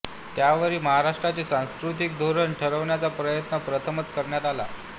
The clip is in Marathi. त्यावेळी महाराष्ट्राचे सांस्कृतिक धोरण ठरवण्याचा प्रयत्न प्रथमच करण्यात आला